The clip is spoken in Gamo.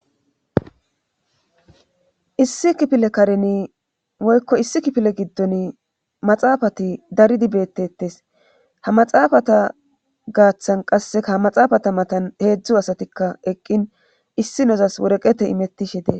issi kifile kareni woykko issi kifile giddon maxaafati daridi beettettes ha maxaafata gaaththan qasseka a maxaafata matan heedzdzu asatikka eqqin issi nezas woreqete imettishe dees